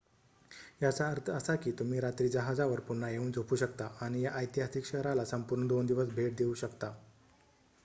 याचा अर्थ असा की तुम्ही रात्री जहाजावर पुन्हा येऊन झोपू शकता आणि या ऐतिहासिक शहराला संपूर्ण दोन दिवस भेट देऊ शकता